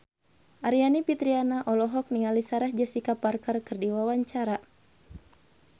Aryani Fitriana olohok ningali Sarah Jessica Parker keur diwawancara